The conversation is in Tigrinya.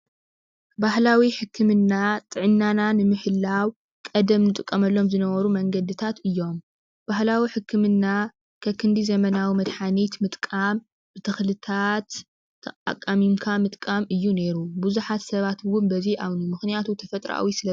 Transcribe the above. ባህላዊ ሕክምና ጥዕናና ንምሕላው ቀደም ንጥቀመሎም ዝነበሩ መንገድታት እዮም፡፡ ባህላዊ ሕክምና ከክንዲ ዘመናዊ መድሓኒት ምጥቃም ተኽልታት ኣቃሚምካ ምጥቃም እዩ ነይሩ፡፡ ብዙሓት ሰባት እውን በዚ ይኣምኑ፡፡ ምኽንያቱ ተፈጥራዊ ስለዝኾነ፡፡